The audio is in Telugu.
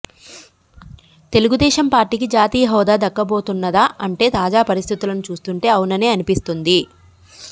తెలుగుదేశం పార్టీకి జాతీయ హొదా దక్కబోతున్నదా అంటే తాజా పరిస్థితులను చూస్తుంటే అవుననే అనిపిస్తున్నది